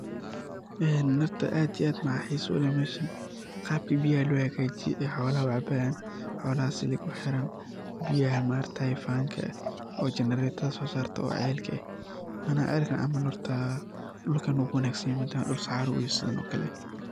Een horta aad iyo aad waxa xiso leh sidhaa biyaha lo so saraaya oo xolaha u cabayan , silig ba u xiran oo biyaha so sarayan oo saxara ah oo aad u wanagsan.